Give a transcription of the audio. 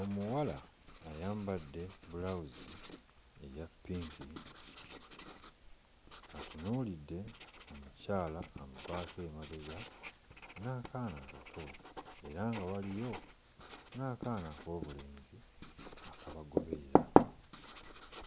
Omuwala ayambadde bbulawuzi eya ppinki atunuulidde omukyala amuvaako emabega n'akaana akato era nga waliyo n'akaana ak'obulenzi akabagoberera